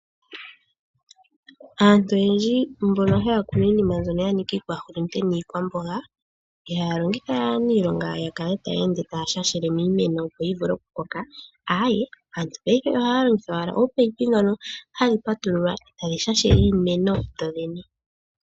Aantu oyendji mboka haya kuunu iinima mbyoka ya nika iihulunde niikwamboga ,ihaya longitha aanilonga yakale taya ende taya shashele miimeno opo yivule okukoka ayee, aantu paife ohaya longitha ominino dhoka hadhi patululwa e ta dhi shashele iimeno omeya.